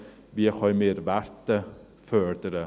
Wie können wir Werte fördern?